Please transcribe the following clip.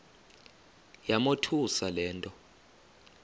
yamothusa le nto